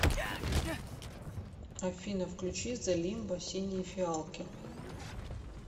афина включи зе лимба синие фиалки